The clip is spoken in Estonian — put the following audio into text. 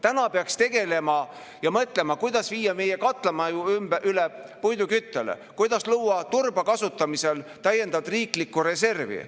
Täna peaks tegelema sellega ja mõtlema, kuidas viia meie katlamaju üle puiduküttele, kuidas luua turba kasutamisel täiendavat riiklikku reservi.